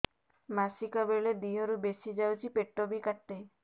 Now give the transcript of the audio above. ମାସିକା ବେଳେ ଦିହରୁ ବେଶି ଯାଉଛି ପେଟ ବି କାଟେ